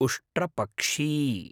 उष्ट्रपक्षी